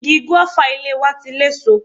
Igi gúéfà ilé wa ti léso.